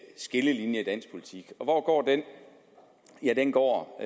skillelinje i dansk politik og hvor går den ja den går